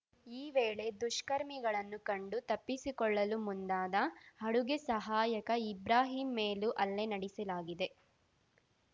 ಈ ವೇಳೆ ದುಷ್ಕರ್ಮಿಗಳನ್ನು ಕಂಡು ತಪ್ಪಿಸಿಕೊಳ್ಳಲು ಮುಂದಾದ ಅಡುಗೆ ಸಹಾಯಕ ಇಬ್ರಾಹಿಂ ಮೇಲೂ ಹಲ್ಲೆ ನಡೆಸಲಾಗಿದೆ